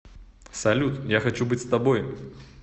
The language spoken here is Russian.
салют я хочу быть с тобой